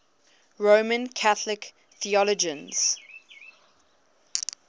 roman catholic theologians